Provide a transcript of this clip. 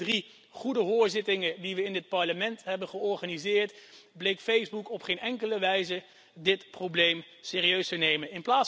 Ook in de drie goede hoorzittingen die we in dit Parlement hebben georganiseerd, bleek Facebook op geen enkele wijze dit probleem serieus te nemen.